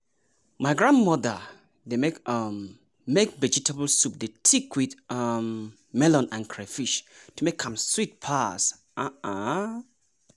my grandmother dey um make vegetable soup dey thick with um melon and crayfish to make am sweet pass. um